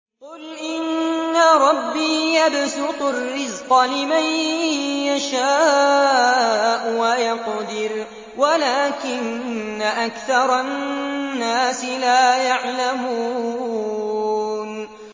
قُلْ إِنَّ رَبِّي يَبْسُطُ الرِّزْقَ لِمَن يَشَاءُ وَيَقْدِرُ وَلَٰكِنَّ أَكْثَرَ النَّاسِ لَا يَعْلَمُونَ